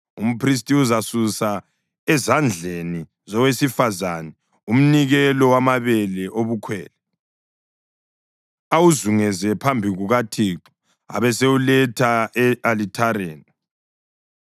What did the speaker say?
Umphristi uzasusa ezandleni zowesifazane umnikelo wamabele obukhwele, awuzunguze phambi kukaThixo abesewuletha e-alithareni.